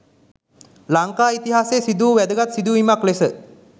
ලංකා ඉතිහාසයේ සිදු වූ වැදගත් සිදුවීමක් ලෙස